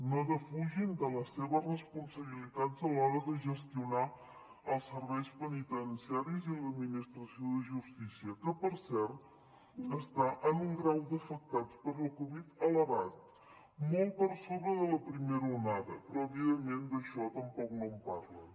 no defugin de les seves responsabilitats a l’hora de gestionar els serveis penitenciaris i l’administració de justícia que per cert està en un grau d’afectats per la covid elevat molt per sobre de la primera onada però evidentment d’això tampoc no en parlen